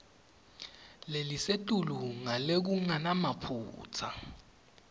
lelisetulu ngalokungenamaphutsa